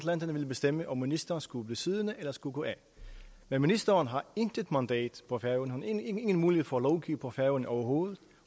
mandater ville bestemme om ministeren skulle blive siddende eller skulle gå af men ministeren har intet mandat på færøerne ingen mulighed for at lovgive på færøerne overhovedet